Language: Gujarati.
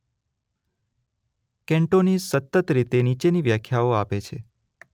કેન્ટોનીઝ સતત રીતે નીચેની વ્યાખ્યાઓ આપે છે